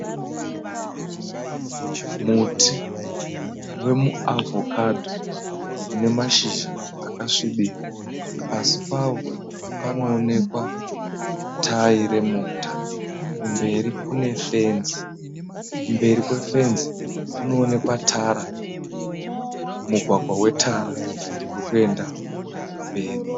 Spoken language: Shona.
Muti wemu avocado une mashizha akasvibira . Pasi pawo panoonekwa tayi remota. Kumberi Kune fenzi. Kumberi kwe fenzi kunoonekwa mugwagwa we tara urikuenda mberi.